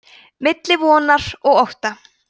milli vonar og ótta